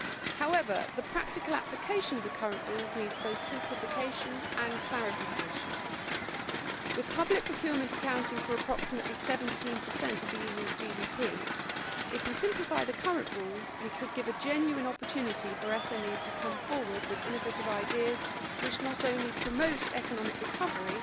However, the practical application of the current rules needs both simplification and clarification. With public procurement accounting for approximately 17 of the EU's GDP, if we simplify the current rules we could give SMEs a genuine opportunity to come forward with innovative ideas which not only promote economic recovery